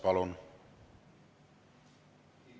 Palun!